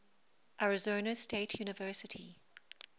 arizona state university